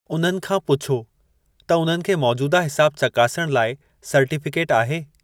उन्हनि खां पुछो त उन्हनि खे मौजूदा हिसाब चकासणु लाइ सर्टीफ़िकेटु आहे?